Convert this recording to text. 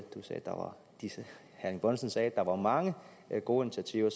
herre erling bonnesen sagde at der var mange gode initiativer